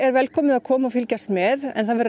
velkomið að koma og fylgjast með